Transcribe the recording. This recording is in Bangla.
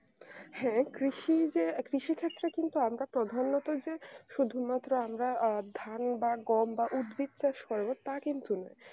হ্যাঁ কৃষি যে কৃষি ক্ষেত্রে কিন্তু আমরা প্রাধান্যতা যে শুধুমাত্র আমরা আহ ধান বা কম বা উদ্ভিদচাষ করব তা কিন্তু নয়